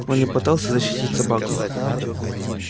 он не пытался защитить собаку